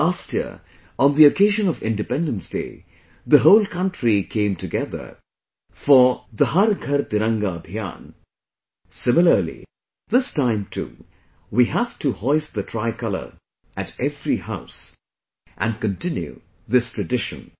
Last year on the occasion of Independence Day, the whole country came together for 'Har GharTiranga Abhiyan',... similarly this time too we have to hoist the Tricolor at every house, and continue this tradition